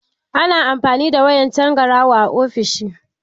Ana amfani da wayar tangaraho a ofishi.